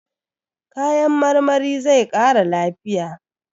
Kayan marmari zai ƙara lafiya.